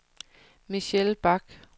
Michelle Bak